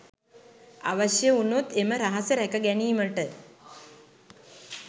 අවශ්‍ය වුණොත් එම රහස රැක ගැනීමට